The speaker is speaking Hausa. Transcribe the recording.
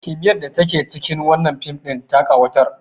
kimiyyar da take cikin wannan fim ɗin ta ƙawatar